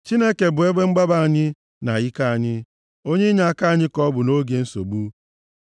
Chineke bụ ebe mgbaba anyị, na ike anyị, onye inyeaka anyị ka ọ bụ nʼoge nsogbu.